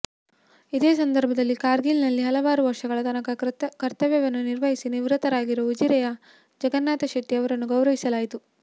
ಇದೇ ಸಂದರ್ಭದಲ್ಲಿ ಕಾರ್ಗಿಲ್ ನಲ್ಲಿ ಹಲವಾರು ವರ್ಷಗಳ ತನಕ ಕರ್ತವ್ಯವನ್ನು ನಿರ್ವಹಿಸಿ ನಿವೃತ್ತರಾಗಿರುವ ಉಜಿರೆಯ ಜಗನ್ನಾಥ ಶೆಟ್ಟಿ ಅವರನ್ನು ಗೌರವಿಸಲಾಯಿತು